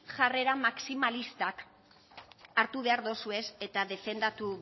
jarrera maximalistak hartu behar dozuez eta defendatu